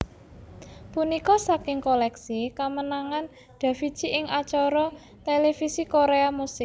Punika saking koleksi kamenangan Davichi ing acara televisi Korea musik